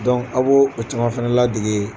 aw b'o o caman fana ladege